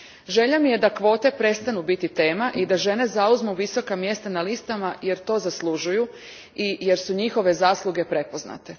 Želja mi je da kvote prestanu biti tema i da žene zauzmu visoka mjesta na listama jer to zaslužuju i jer su njihove zasluge prepoznate.